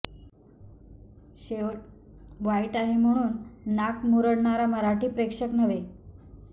शेवट वाईट आहे म्हणून नाक मुरडणारा मराठी प्रेक्षक नव्हे